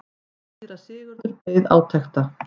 Síra Sigurður beið átekta.